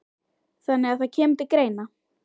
Þannig að það kemur til greina?